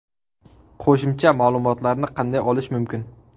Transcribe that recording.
Qo‘shimcha ma’lumotlarni qanday olish mumkin?